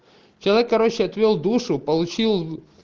человек короче отвёл душу получил